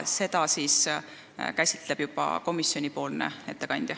Seda teemat käsitleb aga juba komisjoni ettekandja.